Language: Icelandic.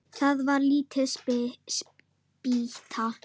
Það var lítil spýta.